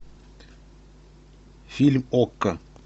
фильм окко